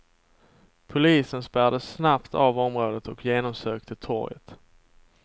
Polisen spärrade snabbt av området och genomsökte torget.